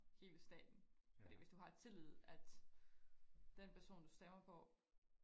hele staten fordi hvis du har tillid at den person du stemmer på